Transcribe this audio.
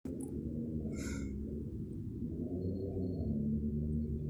kakwa irbulabol o dalili e Costello syndrome?